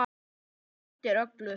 Þetta breytir öllu.